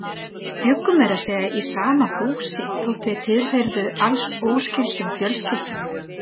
Og þau bjuggu meira að segja í sama húsi þótt þau tilheyrðu alls óskyldum fjölskyldum.